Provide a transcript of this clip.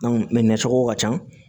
nin cogo ka ca